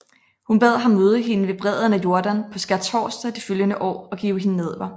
Hun bad ham møde hende ved bredden af Jordan på skærtorsdag det følgende år og give hende nadver